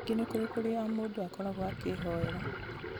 ningĩ nĩkũri kũrĩa o mũndũ akoragwo akĩĩhoyera